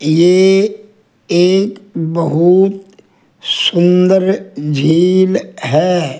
ये एक बहुत सुंदर झील है।